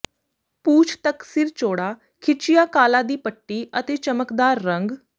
ਪੂਛ ਤੱਕ ਸਿਰ ਚੌੜਾ ਖਿੱਚਿਆ ਕਾਲਾ ਦੀ ਪੱਟੀ ਅਤੇ ਚਮਕਦਾਰ ਰੰਗ